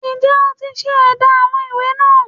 Ǹ jé o ti se édá àwọn ìwé náà